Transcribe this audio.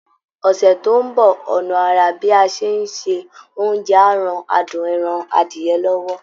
Ọ̀sẹ̀ tó ń bọ̀, ọ̀nà àrà bí a ṣe ń ṣe oúnjẹ á ran adùn ẹran adìyẹ lọ́wọ́